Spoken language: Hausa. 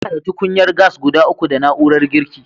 Muna da tukunyar gas guda uku da na'urar girki.